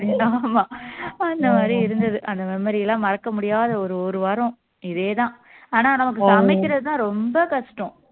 ஆமா அந்த மாதிரி இருந்தது அந்த memory எல்லாம் மறக்க முடியாத ஒரு ஒரு வாரம் இதேதான் ஆனா நமக்கு சமைக்கிறதுதான் ரொம்ப கஷ்டம்